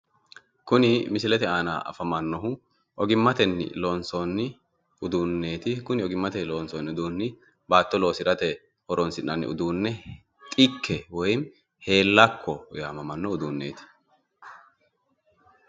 Kuni misilete aana afamannohu ogimmatenni Loonsoonni uduunneeti kuni ogimmatenni loonsoonni Baatto loosirate horonsi'nanni uduuni xikke woy Heellakko yaamamano uduuneeti.